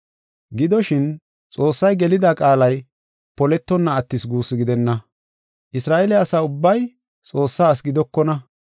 Gidoshin, Xoossay gelida qaalay poletonna attis guussu gidenna. Isra7eele asa ubbay Xoossaa asi gidokona.